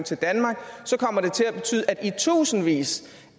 til danmark kommer det til at betyde at i tusindvis